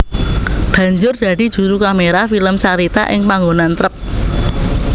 Banjur dadi juru kaméra film carita ing panggonan trep